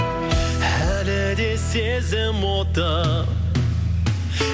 әлі де сезім оты